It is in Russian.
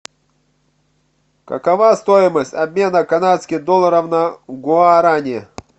какова стоимость обмена канадских долларов на гуарани